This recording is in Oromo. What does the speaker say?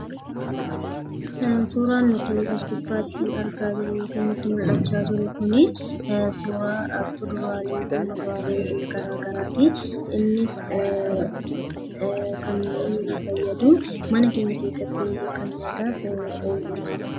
Suuraan nuti as gubbaatti argaa jirru kun, suuraa kuduraalee fi muduraalee garaagaraati. Innis kan fayyadu mana keenya keessatti kan nyaataaf ooluudha.